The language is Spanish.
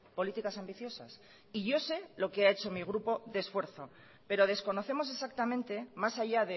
políticas ambiciosas y yo sé lo que ha hecho mi grupo de esfuerzo pero desconocemos exactamente más allá